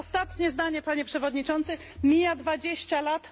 Ostatnie zdanie Panie Przewodniczący! Mija dwadzieścia lat...